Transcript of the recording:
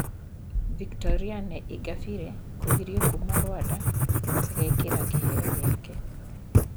Victoriane Ingabire kũgirio kuuma Rwanda agekĩra kĩheo gĩake